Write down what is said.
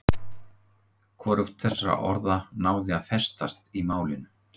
Hvorugt þessara orða náði að festast í málinu.